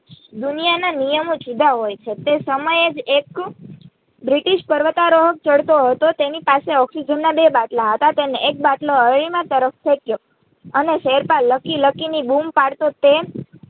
દુનિયા ના નિયમો જુદા હોયે છે તે સમય જ એક બ્રિટિશ પર્વતારોહક ચડતો હતો તેની પાસે Oxygen ના બે બાટલા હતા તેણે એક બાટલો અરૂણિમા તરફ ફેંક્યો અને શેરપા Lucky Lucky ની બૂમ પડતો તે